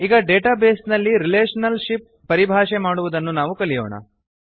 ಈಗ ಡೇಟಾಬೇಸ್ ನಲ್ಲಿ relationship ಪರಿಭಾಷೆ ಮಾಡುವುದನ್ನು ನಾವು ಕಲಿಯೋಣ